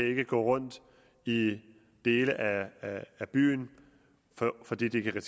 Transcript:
ikke kan rundt i dele af af byen fordi de kan